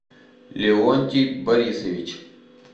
леонтий борисович